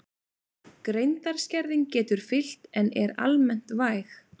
Greindarskerðing getur fylgt en er almennt væg.